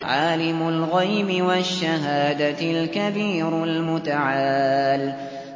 عَالِمُ الْغَيْبِ وَالشَّهَادَةِ الْكَبِيرُ الْمُتَعَالِ